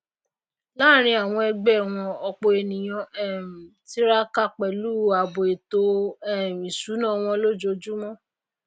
láàrín àwọn ẹgbé wọn òpò ènìyàn um tiraka pèlú ààbò ètò um ìsúná wọn lójójúmó